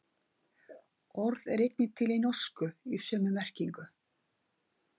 Orðið er einnig til í norsku í sömu merkingu.